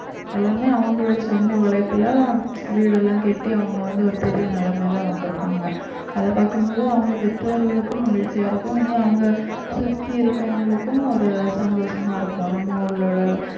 எல்லாமே அவங்களோட சொந்த உழைப்புல வீடெல்லாம் கட்டி அவங்க வந்து ஒரு பெரிய நிலைமையில வந்திருப்பாங்க அதை பாக்கும்போது அவங்க பெற்றோர்களுக்கும் மகிழ்ச்சியா இருக்கும் இனி அவங்க சுத்தி இருக்கவங்களுக்கும் ஒரு சந்தோஷமா இருக்கும் நம்ம உள்ளோட